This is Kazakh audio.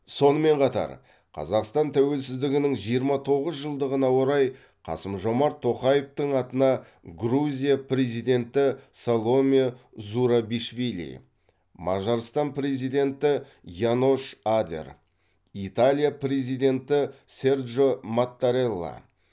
сонымен қатар қазақстан тәуелсіздігінің жиырма тоғыз жылдығына орай қасым жомарт тоқаевтың атына грузия президенті саломе зурабишвили мажарстан президенті янош адер италия президенті серджо маттарелла